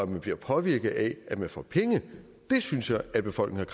man bliver påvirket af at man får penge det synes jeg at befolkningen